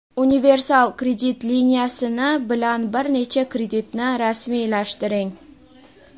Universal kredit liniyasini bilan bir necha kreditni rasmiylashtiring.